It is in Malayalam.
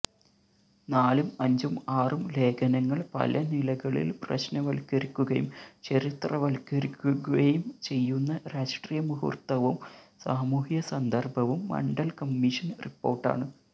നാലും അഞ്ചും ആറും ലേഖനങ്ങൾ പലനിലകളിൽ പ്രശ്നവൽക്കരിക്കുകയും ചരിത്രവൽക്കരിക്കുകയും ചെയ്യുന്ന രാഷ്ട്രീയമുഹൂർത്തവും സാമൂഹ്യസന്ദർഭവും മണ്ഡൽകമ്മീഷൻ റിപ്പോർട്ടാണ്